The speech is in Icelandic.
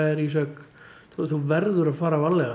Ísak þú verður að fara varlega